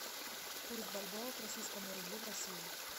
курс бальбоа к российскому рублю в россии